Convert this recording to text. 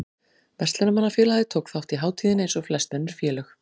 Verslunarmannafélagið tók þátt í hátíðinni eins og flest önnur félög.